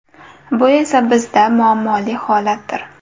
Bu esa bizda muammoli holatdir.